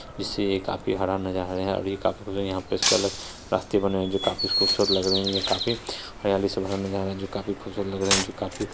जिससे ये काफी हरा नजर आ रहा है यहां पे इसके अलग रास्ते बने हुए जो काफी खूबसूरत लग रहे हैं ये काफी हरियाली से भरा नज़ारा है जो काफी खूबसूरत लग रहे है जो काफी --